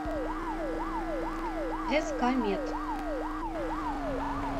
ск мед